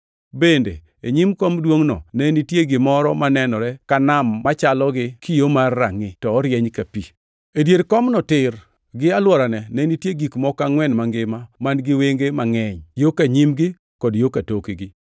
Bende e nyim kom duongʼno ne nitie gimoro manenore ka nam machalo gi kio mar rangʼi, to orieny ka pi. E dier komno tir gi alworane ne nitie gik moko angʼwen mangima man-gi wenge mangʼeny yo ka nyimgi kod yo ka tokgi.